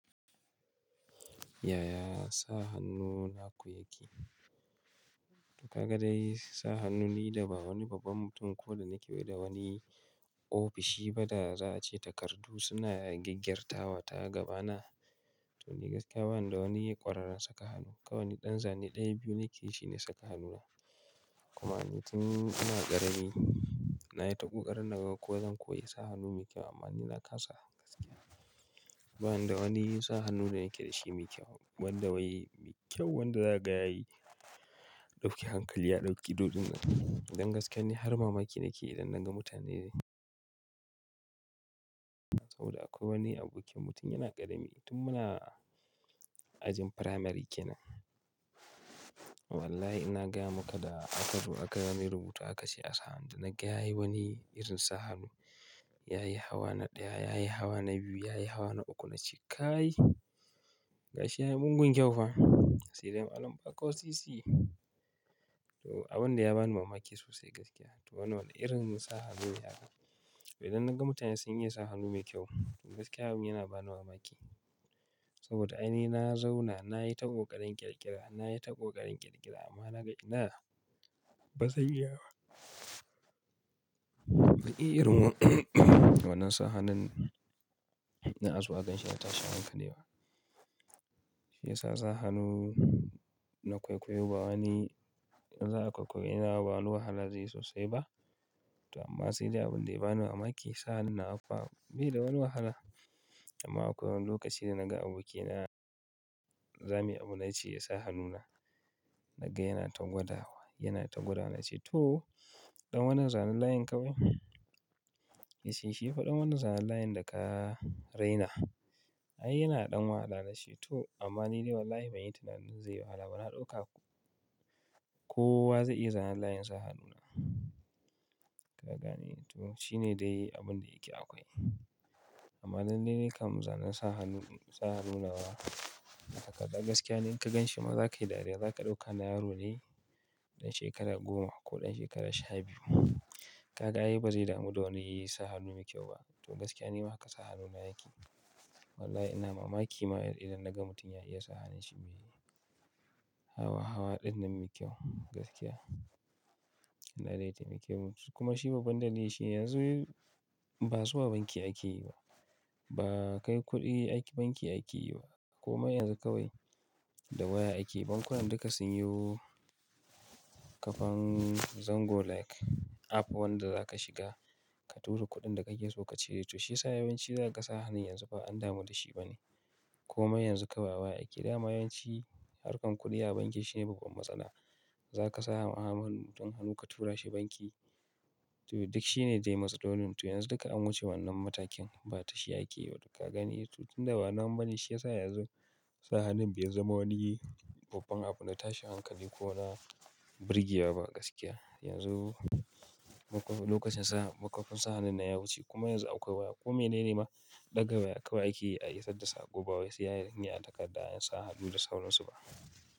Ya ya sa hannu naku yake? Ka ga dai sa hannu ni da ba wani babban mutum ko da nike yi da wani ofishi ba da za a ce takardu suna gyaggyarta wa ta gaba na. To ni gaskiya bani da wani ƙwararren saka hannu. Kawai ni ɗan zane ɗaya biyu nike shi ne saka hannuna. Kuma ni tun ina ƙarami nayi ta ƙoƙarin naga ko zan koyi sa hannu mai kyau amma ni na kasa. Bani da wani sa hannu da yake da shi mai kyau wanda wai kyau wanda za ka ga yayi dauki hankali ya ɗauki dodunan. Dan gaskiya ne har mamaki nike idan naga mutane ne. Saboda akwai wani abokin mutum yana ƙarami tun muna ajin firamare kenan. Wallahi ina gaya maka da aka zo aka bani rubutu aka ce a sa hannu, na gaya yi wani irin sa hannu yayi hawa na ɗaya, yayi hawa na biyu, yayi hawa na uku na ce kai, gashi yayi mugun kyau fa. Sai dai alam ba ƙo sisi. To abin dai ya bani mamaki sosai gaskiya. To wannan irin sa hannun yara. Idan naga mutane sun iya sa hannu mai kyau to gaskiya abin yana bani mamaki. Saboda ai ni na zauna nayi ta ƙoƙarin ƙirƙira, nayi ta ƙoƙarin ƙirƙira amma naga ina ba zan iya ba. Wani irin wannan sa hannun na azo aganshi a tashi hankalewa. Shi yasa sa hannu na kwaikwayo ba wani za ka kwaikwayi ina ba wani wahala zai yi sosai ba. To amma sai dai abin da ya bani mamaki sa hannun nawa fa bai da wani wahala. Amma akwai wani lokaci da naga abokina, zami abu na ce ya sa hannuna naga yana ta gwadawa, yana ta gwada na ce to ɗan wannan zanen layin kawai? Ya ce shi fa ɗan wannan zanen layin da ka raina. Ai yana ɗan wahala na ce to amma ni dai wallahi ban yi tunanin zai yi wahala ba na ɗauka. Kowa zai iya zanen layin sa hannuna. Ka gane? To shine dai abin da yake akwai. Amma dan dai nakan mu zanan sa hannu, sa hannun nawa takarda gaskiya ne in ka ganshi ma za ka yi dariya. Za ka ɗauka na yaro ne ɗan shekara goma ko ɗan shekara sha biyu. Ka ga ai ba zai damu da wani yi sa hannu mai kyau ba. To gaskiya ne haka sa hannuna yake. Wallahi ina mamaki ma idan naga mutum ya iya sa hannun shi mai hawa hawa ɗinnan mai kyau gaskiya. Ina da ita mai kyau kuma shi babban dalili shi yanzu ba zuwa banki ake yi ba. Ba kai kuɗi aiki banki ake yi ba. Koma yanzu kawai da waya ake yi. Bankunan duka sun yi kafan Zango like app wanda za ka shiga ka tura kuɗin da kake so ka cire. To shi ya sa yawanci za ka ga sa hannun yanzu ba an damu da shi ba ne. Komai yanzu kawai a waya ake yi da ma yawanci harkar kuɗi a banki shine babban matsala. Za ka sa wa muhammadin hannu ka tura shi banki. To duk shi ne dai matsalolin. To yanzu duka an wuce wannan matakin ba tashi ake yi ba duka ka gane. To tunda ba nama bane shi yasa yanzu sa hannun bai zama wani babban abu na tashi hankali ko na birgewa ba gaskiya. Yanzu makwa-- lokacin sa makkafun sa hannun na ya wuce kuma yanzu akwai waya. Ko menene ma ɗaga waya kawai ake yi a isar da sako ba wai sai dai in yi a takarda in sa hannu da sauransu ba.